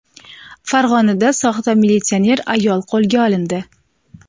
Farg‘onada soxta militsioner ayol qo‘lga olindi.